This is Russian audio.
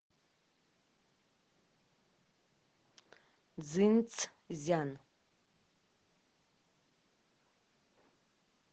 цзинцзян